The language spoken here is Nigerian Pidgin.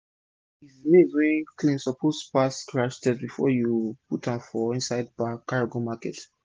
maize maize wey clean suppose pass scratch test before u put am for inside bag carry go market